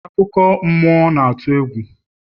akụkọ mmụọ na-atụ egwu